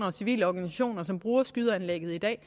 og civile organisationer som bruger skydeanlægget i dag